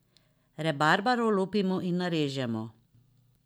Rabarbaro olupimo in narežemo.